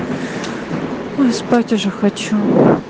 ну спать уже хочу